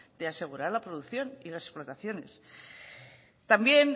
de asegurar la producción y las explotaciones también